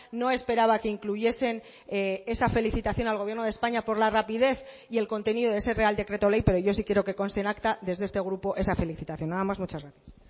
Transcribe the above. no esperaba que incluyesen esa felicitación al gobierno de españa por la rapidez y el contenido de ese real decreto ley pero yo sí quiero que conste en acta desde este grupo esa felicitación nada más muchas gracias